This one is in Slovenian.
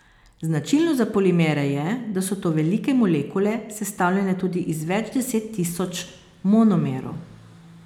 Značilno za polimere je, da so to velike molekule, sestavljene tudi iz več deset tisoč monomerov.